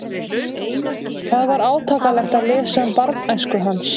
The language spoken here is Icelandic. Það var átakanlegt að lesa um barnæsku hans.